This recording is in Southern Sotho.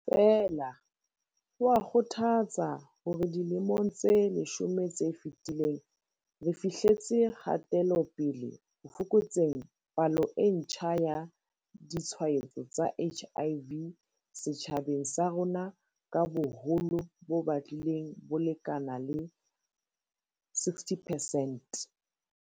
Feela, ho a kgothatsa hore dilemong tse leshome tse fetileng re fihletse kgate-lopele ho fokotseng palo e ntjha ya ditshwaetso tsa HIV setjhabeng sa rona ka boholo bo batlileng bo lekana le 60 percent.